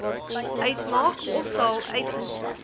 uitmaak ofsal uitmaak